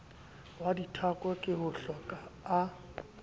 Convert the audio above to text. wa dithako ke hohloka a